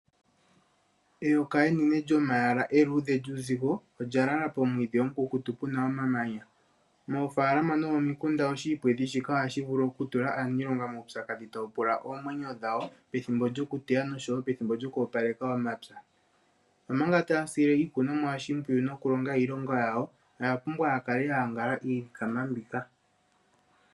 Eyoka enene lyomayala eluudhe lyuuzigo olyalala pomwiidhi omukukutu puna omamanya. Moofaalama no momikunda oshiipwedhi shike ohashi vulu okutula aaniilonga muupyakadhi tawu pula oomwenyo dhawo pethimbo lyokuteya no showo pethimbo lyo ku opaleka omapya, omanga taya shili iikunomwa oshimpwiyu nokulonga iilonga yawo oyapumbwa yakale yayangala iilikama mbika.